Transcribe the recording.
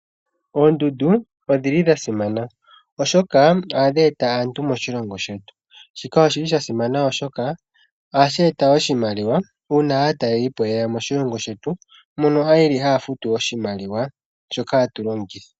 Oondundu odhili dhasimana oshoka ohadhi eta aantu moshilongo shetu. Shika oshili shasimana oshoka ohashi eta oshimaliwa uuna ye ya moshilongo shetu, mono yeli haya futu oshimaliwa shoka hatu longitha.